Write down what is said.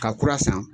Ka kura san